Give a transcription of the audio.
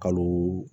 Kalo